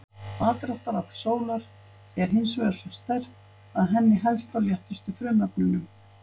Aðdráttarafl sólar er hins vegar svo sterkt að henni helst á léttustu frumefnunum.